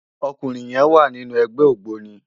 Òkúnrin yèn wá ninú ègbè ógbóni